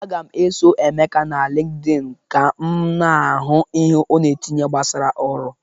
Aga m eso Emeka na LịnkedỊnị ka m na-ahụ ihe ọ na-etinye gbasara ọrụ.